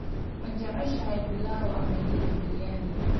Ma jeceshahay pilau ama hilib biryani?